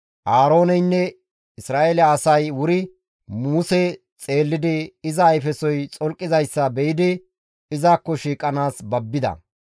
Aarooneynne Isra7eele asay wuri Muse xeellidi iza ayfesoy xolqizayssa be7idi izakko shiiqanaas babbida.